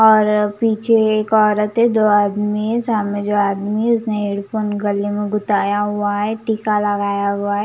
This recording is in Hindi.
और पीछे एक औरतें दो आदमी है सामने जो आदमी उसने एयरफोन गले में गूताया हुआ है टीका लगाया हुआ है।